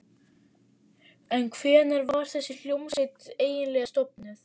En hvenær var þessi hljómsveit eiginlega stofnuð?